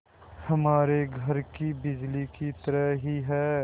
हमारे घर की बिजली की तरह ही है